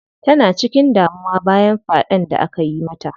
Tana cikin damuwa bayan faɗen da akayi mata.